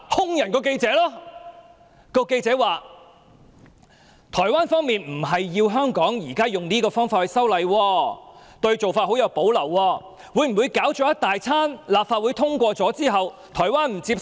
該名記者表示，台灣方面並非要求香港以現時這種方法修例，他們對這做法甚有保留，會否經一番折騰後，立法會通過《條例草案》後，台灣卻不接受？